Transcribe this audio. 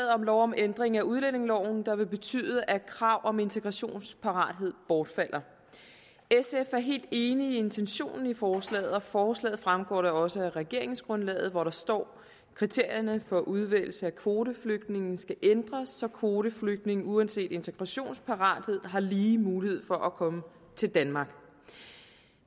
om lov om ændring af udlændingeloven der vil betyde at kravet om integrationsparathed bortfalder sf er helt enig i intentionen i forslaget og forslaget fremgår da også af regeringsgrundlaget hvor der står kriterierne for udvælgelse af kvoteflygtninge skal ændres så kvoteflygtninge uanset integrationsparathed har lige mulighed for at komme til danmark